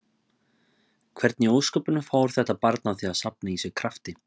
Hvernig í ósköpunum fór þetta barn að því að safna í sig krafti?